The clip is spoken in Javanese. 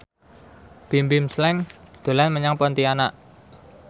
Bimbim Slank dolan menyang Pontianak